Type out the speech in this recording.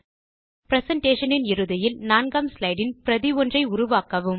presentation இன் இறுதியில் நான்காம் ஸ்லைடு இன் பிரதி ஒன்றை உருவாக்கவும்